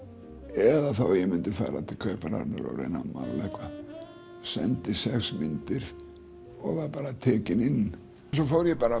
eða þá að ég myndi fara til Kaupmannahafnar að reyna að mála eitthvað sendi sex myndir og var bara tekinn inn svo fór ég bara